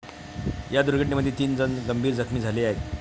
या दुर्घटनेमध्ये तीन जण गंभीर जखमी झाले आहेत.